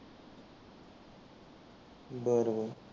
बरं बरं